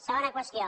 segona qüestió